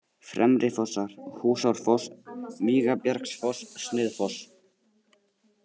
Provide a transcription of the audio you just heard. Fremrifossar, Húsárfoss, Vígabjargsfoss, Sniðfoss